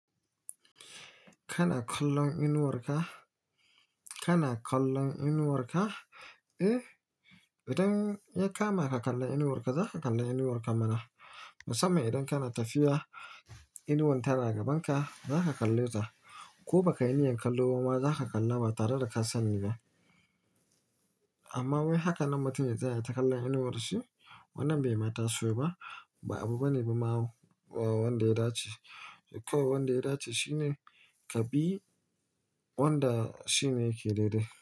Kana kallon inuwar ka? Kana kallon inuwar ka? Eh, idan yakama ka kalla inuwar ka, za ka kalla inuwar ka mana. Musamman idan kana tafiya, inuwan tana gaban ka, za ka kalle ta. Ko baka yi niyyar kalloba ma, za ka kalla ba tare da ka sani ba. Amma wai haka nan mutum ya tsaya yaita kallon inuwar shi. Wannan bai ma dace ba, ba abu bane bama wanda ya dace. Kawai wanda ya dace shine ka bi wanda shi ne yake daidai.